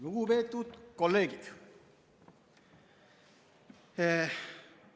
Lugupeetud kolleegid!